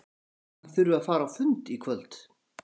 Ég held að hann þurfi að fara á fund í kvöld.